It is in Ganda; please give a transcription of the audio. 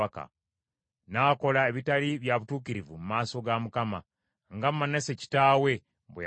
N’akola ebitaali bya butuukirivu mu maaso ga Mukama , nga Manase kitaawe bwe yakola.